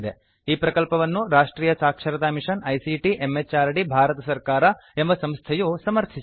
ಈ ಪ್ರಕಲ್ಪವನ್ನು ರಾಷ್ಟ್ರಿಯ ಸಾಕ್ಷರತಾ ಮಿಷನ್ ಐಸಿಟಿ ಎಂಎಚಆರ್ಡಿ ಭಾರತ ಸರ್ಕಾರ ಎಂಬ ಸಂಸ್ಥೆಯು ಸಮರ್ಥಿಸಿದೆ